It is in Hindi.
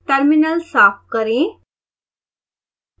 terminal साफ करें